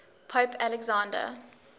pope alexander